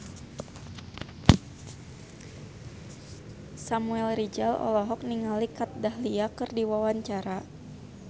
Samuel Rizal olohok ningali Kat Dahlia keur diwawancara